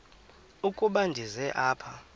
ukuba ndize apha